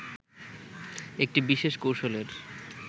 একটি বিশেষ কৌশলের